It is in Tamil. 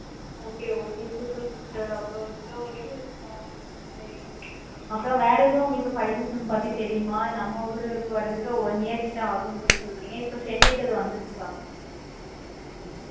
okay okay super super அப்பறம் இவ்வளோ இது அப்பறம் வேற எது உங்களுக்கு five G sim பத்தி தெரியுமா? நம்ம ஊருக்கு வாரத்துக்கு one year கிட்ட ஆகிடு சொல்லி சொல்றிங்க இப்ப chennai க்கு அது வந்துடுச்சி?